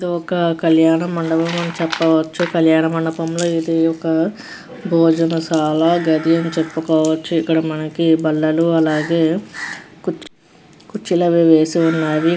ఇది ఒక కళ్యాణ మండపం అని చెప్పవచ్చు కళ్యాణ మండపం లో ఇది ఒక భోజన శాల గది అని చెప్పుకోవచ్చు ఇక్కడ మనకి బల్లలు అలాగే కుర్చీ కుర్చీలుఅవి వేసి ఉన్నావి.